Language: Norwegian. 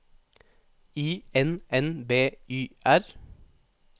I N N B Y R